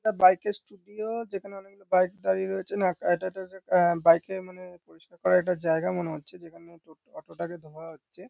আ bike -এর studio যেখানে অনেক রকম বাইক দাঁড়িয়ে রয়েছে না আহ বাইক -এর মানে পরিস্কার করার জায়গা মনে হচ্ছে যেখানে টোট অটো -টাকে ধোয়া হচ্ছে।